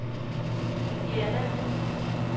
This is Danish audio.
Diana Hviid